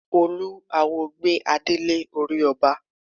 Olúwo gbé adé lé orí ọba.